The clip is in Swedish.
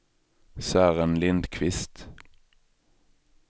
Sören Lindqvist